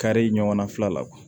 Kari ɲɔgɔnna fila la